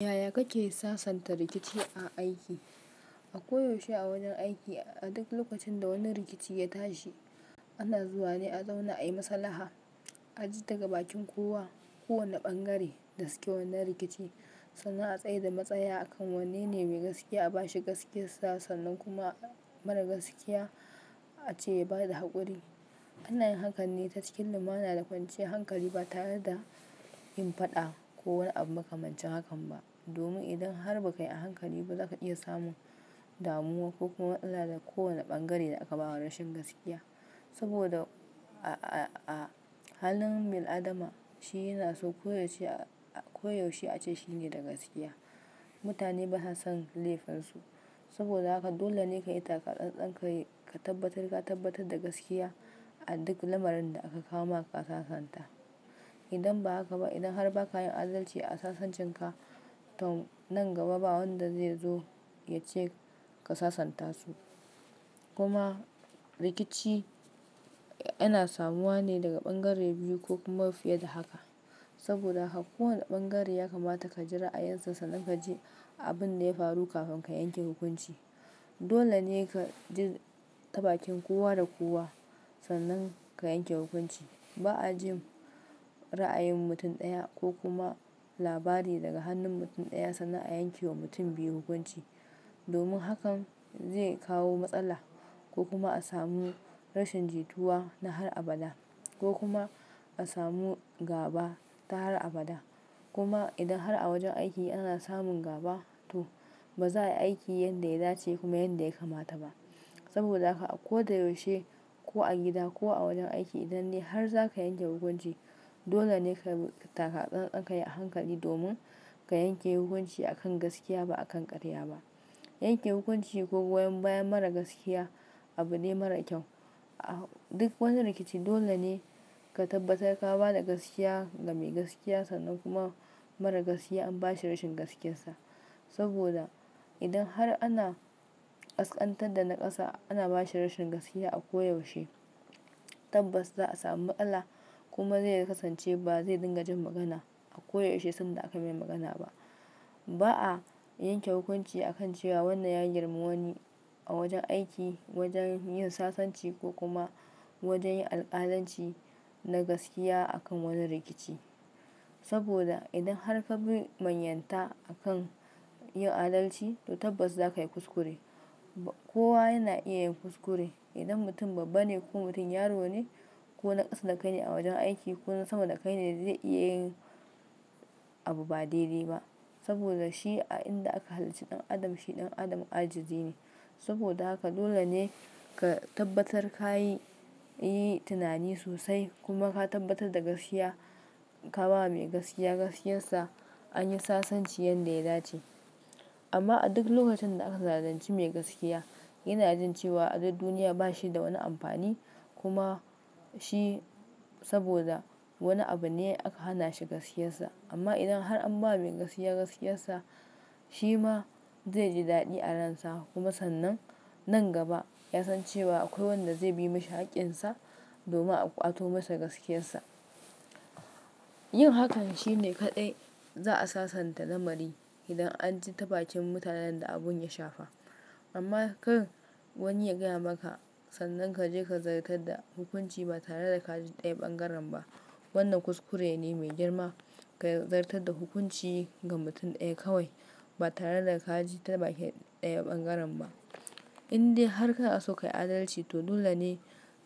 Yaya kake sasanta rikici a aiki? A koyaushe a wajen aiki, a duk lokacin da wani rikici ya tashi, ana zuwa ne a zauna ayi maslaha. A ji daga bakin kowa, kowane bangare da suke wannan rikici, sannan a tsai da matsaya akan wanne ne mai gaskiya a bashi gaskiyar sa, sannan kuma mara gaskiya ace ya bada haƙuri. Ana yin hakanne ta cikin lumana da kwanciyan hankali ba tare da yin faɗa ko wani abu maka mancin hakan ba. Domin idan har ba ka yi hankali ba, za ka iya samun damuwa ko kuma matsala da kowane bangare da aka bawa rashin gaskiya. Saboda a-a-a halin bin adam ci yana so koyaushe a-a-koyaushe ace shine da gaskiya. Mutane basa son laifinsu. Saboda haka dole ne ka yi taka tsantsan, ka yi ka tabbatar, ka tabbatar da gaskiya a duk lamarin da aka kawo maka ka sasanta. Idan ba haka ba, idan har ba ka yin adalci a sasancen ka, to nan gaba ba wanda ze zo ya ce ka sasanta su. Kuma rikici ana samuwa ne daga bangare biyu ko kuma fiye da haka. Saboda haka kowane bangare ya kamata ka jira a yansa sannan ka ji abin da ya faru kafin ka yanke hukunci. Dole ne ka ji ta bakin kowa da kowa sannan ka yanke hukunci. Ba a jin ra'ayin mutum ɗaya ko kuma labari daga hannun mutum ɗaya sannan a yanke wa mutum biyu hukunci. Domin hakan zai kawo matsala ko kuma a samu rashin jituwa na har abada, ko kuma a samu gaba ta har abada. Kuma idan har a wajen aiki ana samun gaba, to ba za a yi aiki yanda ya dace kuma yanda ya kamata ba. Saboda haka ako da yaushe, ko a gida ko a wajen aiki, idan de har za ka yanke hukunci, dole ne ka yi taka tsantsan, ka yi hankali domin ka yanke hukunci akan gaskiya ba akan ƙarya ba. Yanke hukunci ko goyon bayan mara gaskiya abu ne mara kyau. A duk wani rikici dole ne ka tabbatar ka ba da gaskiya ga mai gaskiya, sannan kuma mara gaskiya an bashi rashin gaskiyarsa. Saboda idan har ana ƙasƙantar da naƙasa ana bashi rashin gaskiya a koyaushe, tabbas za a samu matsala. Kuma zai kasance ba zai dinga jin magana a koyaushe sanda aka mai magana ba. Ba a yanke hukunci akan cewa wannan ya girma wani a wajen aiki, wajen yin sasanci ko kuma wajen yin alƙalanci na gaskiya akan wani rikici. Saboda idan har ka bi manyanta akan yin adalci, to tabbas za ka yi kuskure. Kowa yana iya yin kuskure. Idan mutum babba ne ko mutum yaro ne ko naƙasa da kai ne a wajen aiki ko sama da kai ne zai iya yin abu ba daidai ba. Saboda shi a inda aka halicci ɗan adam, shi ɗan adam ajizi ne. Saboda haka dole ne ka tabbatar ka yi, yi tunani sosai kuma ka tabbatar da gaskiya. Ka ba wa mai gaskiya gaskiyarsa an yi sasanci yanda ya dace. Amma a duk lokacin da aka zalunci mai gaskiya, yana jin cewa adad duniya ba shi da wani amfani. Kuma shi saboda wani abu ne aka hana shi gaskiyarsa. Amma idan har an ba mai gaskiya gaskiyarsa, shi ma zai ji dadi a ransa kuma sannan nan gaba ya san cewa akwai wanda zai bi mashi haƙƙinsa domin a ƙwato masa gaskiyarsa. Yin hakan shine kaɗai za a sasanta lamari idan an ji ta bakin mutanen da abun ya shafa. Amma kan wani ya gaya maka sannan ka je ka zartar da hukunci ba tare da ka ji ɗaya bangaren ba, wannan kuskure ne mai girma. Ka zartar da hukunci ga mutum ɗaya kawai ba tare da ka ji ta bakin ɗaya bangaren ba. Inde har ka so ka yi adalci, to dole ne